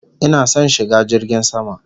Ina son shiga jirgin sama